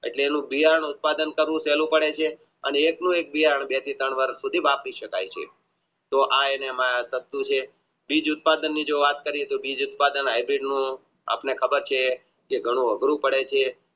એટલીનું ક્રિયાનું ઉત્પાદન કરે છે અને એક નું એક તોઆ એના માં સસ્તું છે બીજ ઉત્પાદની જે વાત કરીયે આપણે ખબર છે જે ઘણું અઘરું પડે છે